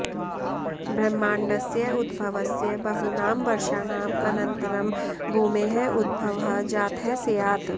ब्रह्माण्डस्य उद्भवस्य बहूनां वर्षाणाम् अनन्तरं भूमेः उद्भवः जातः स्यात्